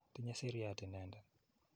Tinye siriat inendet.